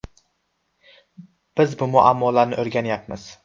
Biz bu muammolarni o‘rganyapmiz.